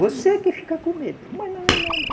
Você que fica com medo, mas não é nada.